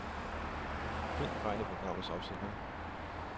Find fejl i programmets opsætning.